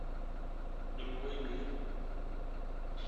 другой мир